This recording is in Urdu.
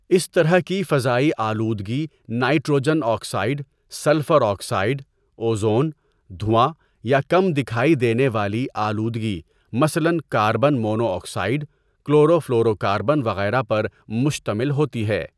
اس طرح کی فضائی آلودگی nitrogen oxide, sulphur oxide, ozone, دھواں یا کم دکھائی دینے والی آلودگی مثلا carbon monoxide, chlorofluorocarbon وغیرہ پر مشتمل ہوتی ہے.